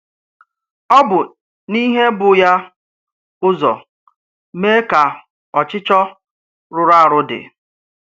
Ọ bụ n’íhè bụ́ ya ụzọ mee ka ọchịchọ rụrụ arụ dị.